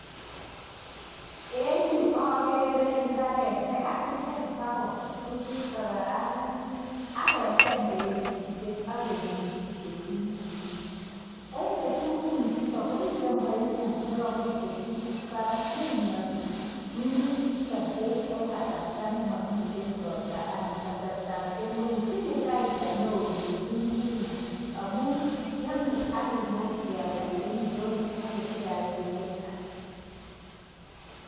En yu agere imbaret nekakiteem bakobusbusiit, kokararanit. Ak ketem bereisisiek, ak keminyi ketung'uik. En ketung'uichuton, komiten paiput, nekomut ketung'uuk barak neinokii minutik chuton berk en kasarts nemomiten roots anan kasartab kemeut. Tinye faida newoo kitung'uuk amun, kiome ak kimuch kealdaa en indonyoo, ak kesich rabinik chechang